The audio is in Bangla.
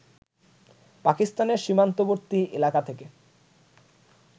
পাকিস্তানের সীমান্তবর্তী এলাকা থেকে